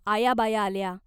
आया बाया आल्या.